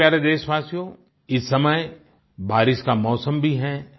मेरे प्यारे देशवासियो इस समय बारिश का मौसम भी है